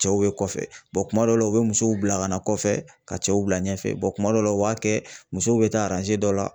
Cɛw bɛ kɔfɛ kuma dɔw la u bɛ musow bila ka na kɔfɛ ka cɛw bila ɲɛfɛ kuma dɔw la u b'a kɛ musow bɛ taa dɔ la ,